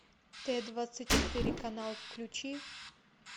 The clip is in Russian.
т двадцать четыре канал включи